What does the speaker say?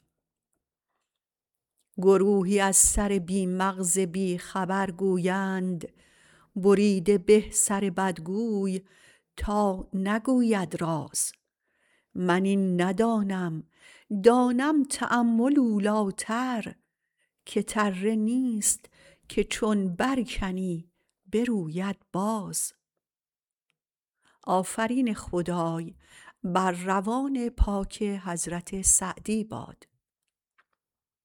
گروهی از سر بی مغز بیخبر گویند بریده به سر بدگوی تا نگوید راز من این ندانم دانم تأمل اولیتر که تره نیست که چون برکنی بروید باز